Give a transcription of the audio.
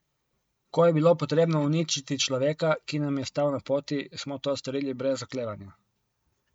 Ko je bilo potrebno uničiti človeka, ki nam je stal na poti, smo to storili brez oklevanja.